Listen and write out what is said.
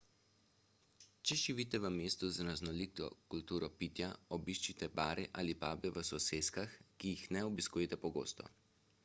če živite v mestu z raznoliko kulturo pitja obiščite bare ali pube v soseskah ki jih ne obiskujete pogosto